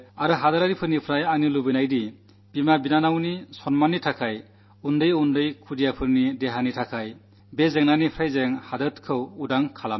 ഞാൻ ആവശ്യപ്പെടുന്നത് അമ്മമാരുടെയും സഹോദരിമാരുടെയും മാനം കാക്കാൻ ചെറിയ കുട്ടികളുടെ ആരോഗ്യംരക്ഷയ്ക്ക് ഈ പ്രശ്നത്തിൽ നിന്നു നമുക്കു നാടിനെ രക്ഷിക്കേണ്ടതുണ്ട്